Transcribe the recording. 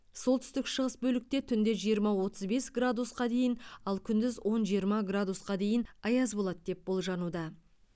солтүстік шығыс бөлікте түнде жиырма отыз бес градусқа дейін ал күндіз он жиырма градусқа дейін аяз болады деп болжануда